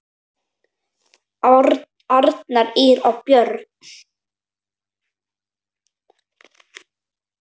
Arnar, Ýr og börn.